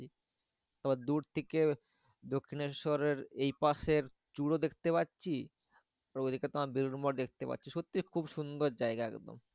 তোমার দূর থেকে দক্ষিনেশ্বরের এই পাশের চুর ও দেখতে পাচ্ছি। ঐদিকে তোমার বেলুড় মঠ দেখতে পাচ্ছি, সত্যি খুব সুন্দর জায়গা একদম।